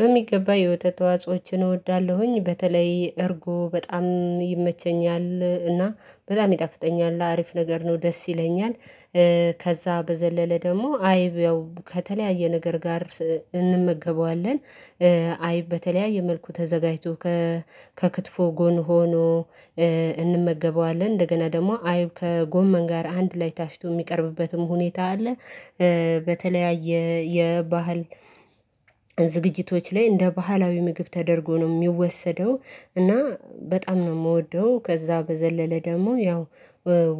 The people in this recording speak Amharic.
በሚገባ የወተት ተዋጾዎችን እወዳለሁኝ በተለይ እርጎ በጣም ይመቸኛል እና በጣም ይጣፍጠኛል አሪፍ ነገር ነው ደስ ይለኛል። ከዛ በዘለለ ደግሞ አይብ ያው ከተለያየ ነገር ጋር እንመገበዋለን። አይብ በተለያየ መልኩ ተዘጋጅቶ ከክትፎ ጎን ሆኖ እንመገበዋለን እንደገና ደግሞ አይብ ከጎመን ጋር አንድ ላይ ታሽቶ የሚቀርብበትም ሁኔታ አለ። በተለያየ የባህል ዝግጅቶች ላይ እንደ ባህላዊ ምግብ ተደርጎ ነው የሚወሰደው እና በጣም ነው የምወደው። ከዛ በዘለለ ደግሞ ያው